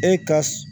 E ka